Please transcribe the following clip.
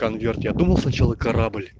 конверт я думал сначала корабль